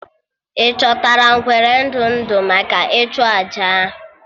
Ị chọtara ngwere ndụ ndụ maka ịchụ àjà ahụ?